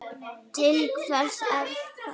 Til hvers er það?